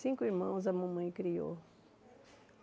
Cinco irmãos a mamãe criou.